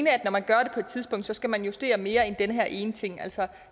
at når man gør det på et tidspunkt skal man justere mere end den her ene ting altså